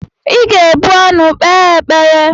Ị ga-ebu ọnụ kpee ekpere!